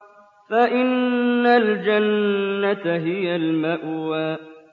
فَإِنَّ الْجَنَّةَ هِيَ الْمَأْوَىٰ